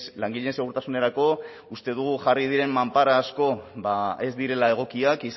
langileen segurtasunerako uste dugu jarri diren manpara asko ba ez direla egokiak